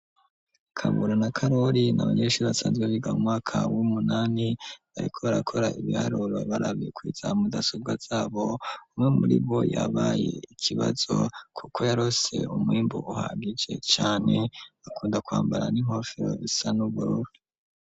Kabura na karori nabayenshi basazwariga u mwakab umunani bariko arakora ibiharori barabikwiza mu dasobwa zabo umwe muri bo yabaye ikibazo, kuko yarose umwimbu uhagije cane akunda kwambara n'inkofero isa n'uburore.